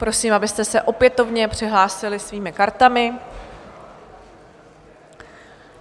Prosím, abyste se opětovně přihlásili svými kartami.